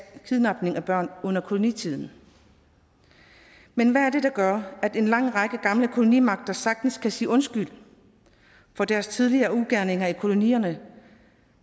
kidnapning af børn under kolonitiden men hvad er det der gør at en lang række gamle kolonimagter sagtens kan sige undskyld for deres tidligere ugerninger i kolonierne